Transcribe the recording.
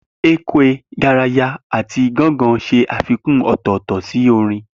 Ekwe, garaya, àti ganga ṣe àfikún ọ̀tọ̀ọ̀tọ̀ sí orin.